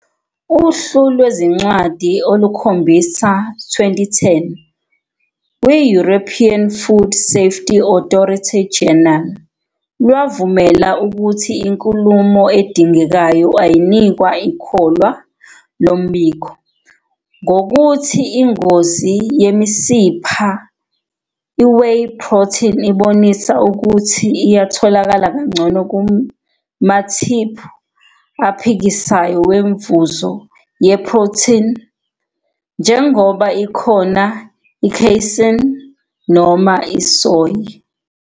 Uhlu lwezincwadi olukhombisa 2010 kwi-European Food Safety Authority Journal lwavumela ukuthi inkulumo edingekayo ayinikwa ikholwa lombiko. Ngokokuthi ingozi yemisipha, I-Whey protein ibonisa ukuthi iyatholakala kangcono kumathiphu aphikisayo wemfuzo yeprothini, njengoba ikhona I-casein noma isoy.